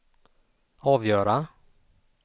avgöra